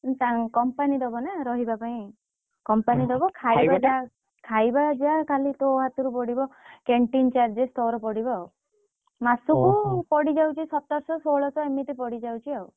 ~ତାଂ company ଦବ ନା ରହିବା ପାଇଁ company ଦବ ଖାଇବା ଟା ଯାହା ଖାଲି ତୋ ହାତରୁ ପଡିବ canteen charges ତୋର ପଡିବ ଆଉ ମାସକୁ ପଡିଯାଉଛି ତୋର ସତର ଶହ ଷୋଳଶ ଏମିତି ପଡିଯାଉଛି ଆଉ,